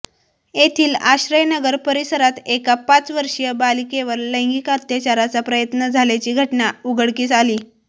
येथील आश्रयनगर परिसरात एका पाचवर्षीय बालिकेवर लैंगिक अत्याचाराचा प्रयत्न झाल्याची घटना उघडकीस आली